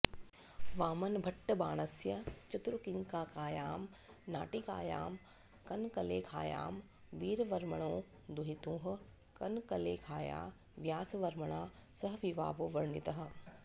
वामनभट्टबाणस्य चतुरङ्किकायां नाटिकायां कनकलेखायां वीरवर्मणो दुहितुः कनकलेखाया व्यासवर्मणा सह विवाहो वर्णितः